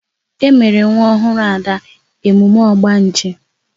E mere nwa ọhụrụ Ada emume ogbanje